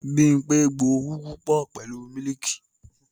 Bímpé gbo Ugwu pọ pẹ̀lú mílìkì